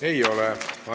Ei ole.